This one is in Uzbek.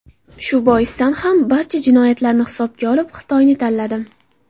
Shu boisdan ham barcha jihatlarni hisobga olib Xitoyni tanladim.